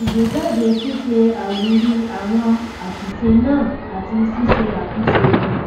ìgbé jáde ṣíṣe àwírí àwọn àṣìṣe náà àti ṣíṣe àtúnṣe wọn